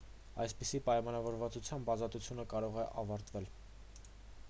այսպիսի պայմանավորվածությամբ ազատությունը կարող է ավարտվել